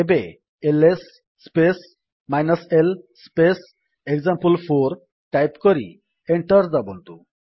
ଏବେ LS space l space example four type କରି enter ଦାବନ୍ତୁ